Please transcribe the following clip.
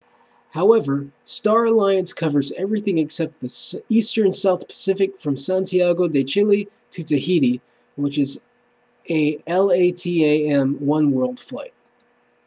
however star alliance covers everything except the eastern south pacific from santiago de chile to tahiti which is a latam oneworld flight